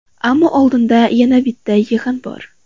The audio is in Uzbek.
Ammo oldinda yana bitta yig‘in bor.